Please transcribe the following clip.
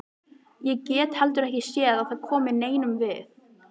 Ég get heldur ekki séð að það komi neinum við.